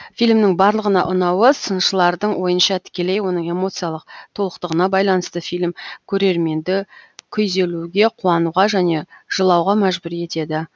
фильмнің барлығына ұнауы сыншылардың ойынша тікелей оның эмоциялық толықтығына байланысты фильм көрерменді күйзелуге қуануға және жылауға мәжбүр етеді